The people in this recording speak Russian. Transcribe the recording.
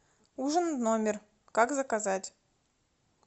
ужин в номер как заказать